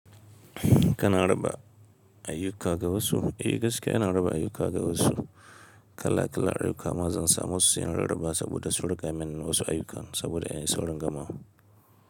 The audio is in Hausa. Kana raba ayyuka ga wasu? Eh gaskiya ina raba ayyuka ga wasu kala kala ayyukama zan samu su sai ina raba saboda su riƙa min wasu ayyuka saboda in yi sauran gama.